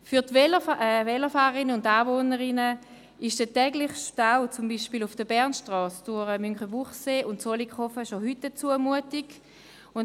Für die Velofahrerinnen und Velofahrer und die Anwohnerinnen und Anwohner ist der tägliche Stau, zum Beispiel auf der Bernstrasse durch Münchenbuchsee und Zollikofen, bereits heute eine Zumutung.